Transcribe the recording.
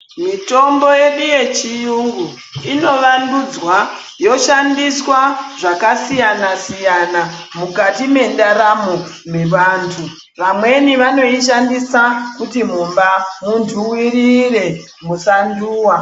Mitombo yedu yechiyungu inovandudzwa yoshandiswa zvakasiyana siyana mukati mendaramo mevantu. Vamweni vanoinoshandisa kuti mumba muntuwirire musantuwa.